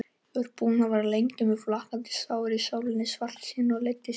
Ég var búinn að vera lengi með flakandi sár á sálinni, svartsýnn og leiddist lífið.